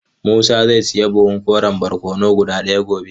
Musa zai sayi buhun koren barkono guda daya gobe.